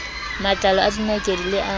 matlalo a dinakedi le a